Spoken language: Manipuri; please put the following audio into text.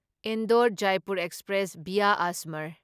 Indore Jaipur express via Ajmer